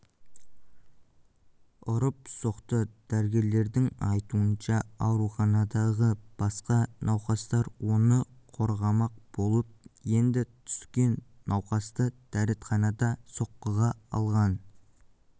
ұрып-соқты дәрігерлердің айтуынша ауруханадағы басқа науқастар оны қорғамақ болып енді түскен науқасты дәретханада соққыға алған